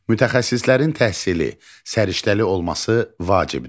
Mütəxəssislərin təhsili, səriştəli olması vacibdir.